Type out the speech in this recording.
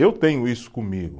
Eu tenho isso comigo.